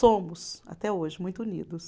Somos, até hoje, muito unidos.